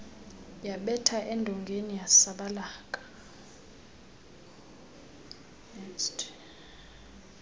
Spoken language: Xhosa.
yabetha edongeni yasabalaka